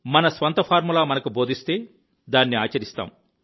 మన స్వంత ఫార్ములా మనకు బోధిస్తే దాన్ని ఆచరిస్తాం